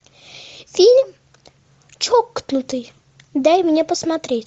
фильм чокнутый дай мне посмотреть